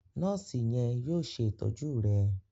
Nọọsi yen yóò ṣe ìtọjú rẹ